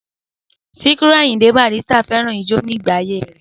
Síkírù Àyìndé Barrister fẹ́ràn ijó ní ìgbà ayé rẹ̀